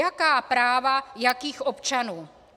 Jaká práva jakých občanů?